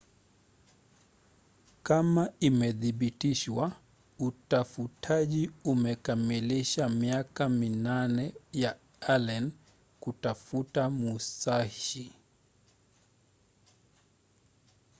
kama imedhibitishwa utafutaji unakamilisha miaka minane ya allen kutafuta musashi